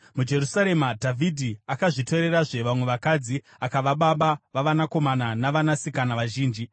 MuJerusarema, Dhavhidhi akazvitorerazve vamwe vakadzi akava baba vavanakomana navanasikana vazhinji.